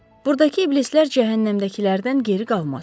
Buradakı iblislər cəhənnəmdəkilərdən geri qalmaz.